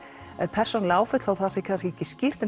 persónuleg áföll þó það sé kannski ekki skýrt en